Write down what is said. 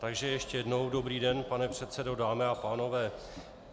Takže ještě jednou dobrý den, pane předsedo, dámy a pánové.